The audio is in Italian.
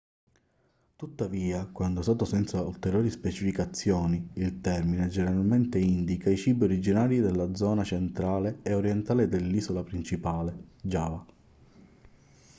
tuttavia quando è usato senza ulteriori specificazioni il termine generalmente indica i cibi originari della zona centrale e orientale dell'isola principale giava